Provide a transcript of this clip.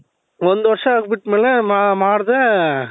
ಒಂದು ವರ್ಷ ಬಿಟ್ಮೇಲೆ ಮಾಡದೇ